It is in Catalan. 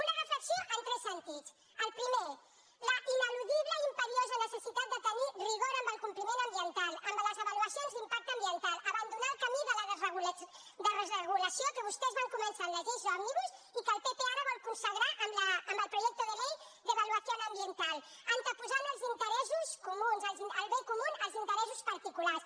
una reflexió en tres sentits el primer la ineludible i imperiosa necessitat de tenir rigor en el compliment ambiental en les avaluacions d’impacte ambiental abandonar el camí de la desregulació que vostès van començar amb les lleis òmnibus i que el pp ara vol consagrar amb el proyecto de ley de evaluación ambiental anteposant el bé comú als interessos particulars